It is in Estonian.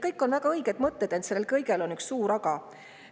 Kõik on väga õiged mõtted, ent selles kõiges on üks suur aga.